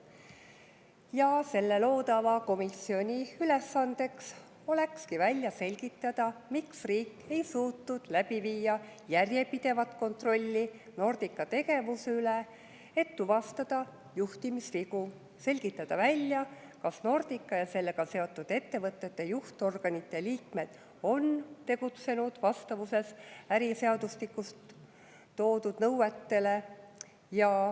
Ja selle loodava komisjoni ülesandeks olekski välja selgitada, miks riik ei suutnud läbi viia järjepidevat kontrolli Nordica tegevuse üle, et tuvastada juhtimisvigu, selgitada välja, kas Nordica ja sellega seotud ettevõtete juhtorganite liikmed on tegutsenud vastavuses äriseadustikus toodud nõuetega.